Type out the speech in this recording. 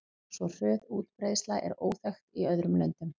Svo hröð útbreiðsla er óþekkt í öðrum löndum.